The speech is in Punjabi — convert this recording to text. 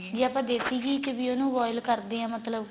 ਜੇ ਆਪਾਂ ਦੇਸੀ ਘੀ ਚ ਵੀ ਉਹਨੂੰ boil ਕਰ ਦੇ ਆ ਮਤਲਬ ਕੀ